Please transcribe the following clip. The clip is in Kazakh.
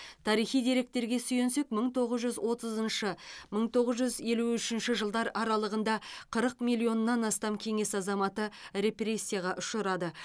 тарихи деректерге сүйенсек мың тоғыз жүз отызыншы мың тоғыз жүз елу үшінші жылдар аралығында қырық миллионнан астам кеңес азаматы репрессияға ұшырады